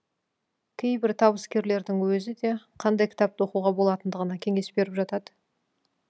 кейбір табыскерлердің өзі де қандай кітапты оқуға болатындығына кеңес беріп жатады